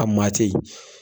A maa ten yen .